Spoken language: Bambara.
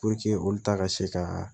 olu ta ka se ka